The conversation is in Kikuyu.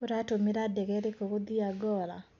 Ũratũmĩra ndege ĩrĩkũ gũthie Angola.